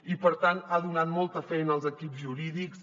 i per tant ha donat molta feina als equips jurídics